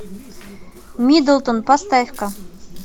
миддлтон поставь ка